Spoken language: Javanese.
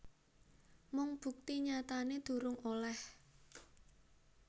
Mung bukti nyatané durung olèh